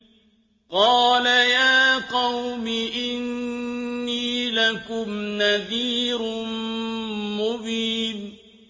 قَالَ يَا قَوْمِ إِنِّي لَكُمْ نَذِيرٌ مُّبِينٌ